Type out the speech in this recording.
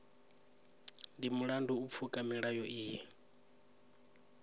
ndi mulandu u pfuka milayo iyi